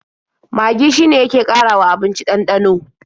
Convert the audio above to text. Magi shine yake ƙarawa abinci ɗanɗano.